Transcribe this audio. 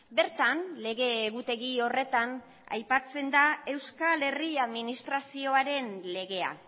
bertan lege egutegi horretan aipatzen da euskal herri administrazioaren legea